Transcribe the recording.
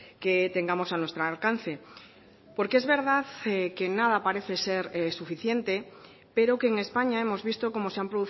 que tengamos a nuestro alcance porque es verdad que nada parece ser suficiente pero que en españa hemos visto cómo se han